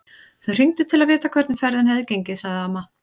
Þau hringdu til að vita hvernig ferðin hefði gengið, sagði amma.